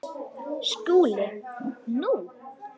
SKÚLI: Nú?